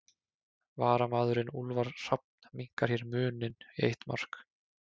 Varamaðurinn Úlfar Hrafn minnkar hér muninn í eitt mark.